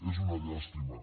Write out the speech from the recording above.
és una llàstima